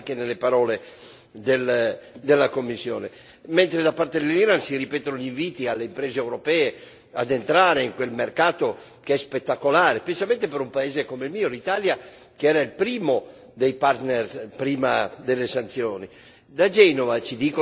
È una situazione di completa incertezza, anche nelle parole della Commissione, mentre da parte dall'Iran si ripetono gli inviti alle imprese europee ad entrare in quel mercato che è spettacolare, specialmente per un paese come il mio, l'Italia, che era il primo dei partner prima delle sanzioni.